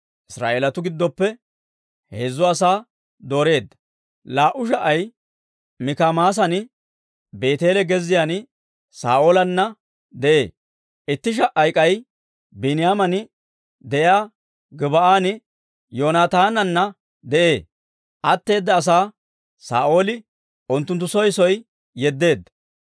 Israa'eelatuu giddoppe heezzu asaa dooreedda; laa"u sha"ay Mikimaasan, Beeteele gezziyaan Saa'oolanna de'ee; itti sha"ay k'ay Biiniyaaman de'iyaa Gib"an Yoonaataananna de'ee; atteeda asaa Saa'ooli unttunttu soo soo yeddeedda.